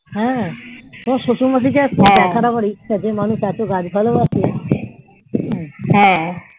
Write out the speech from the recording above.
হ্যাঁ তোমার শশুর মশাই কে দেখার আমার ইচ্ছা যে মানুষ এত গাছ ভালোবাসে